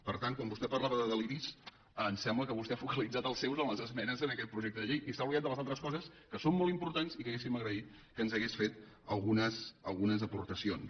per tant quan vostè parlava de deliris em sembla que vostè ha focalitzat els seus en les esmenes a aquest projecte de llei i s’ha oblidat de les altres coses que són molt importants i que hauríem agraït que ens hagués fet algunes aportacions